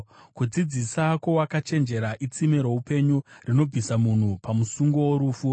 Kudzidzisa kwowakachenjera itsime roupenyu, rinobvisa munhu pamusungo worufu.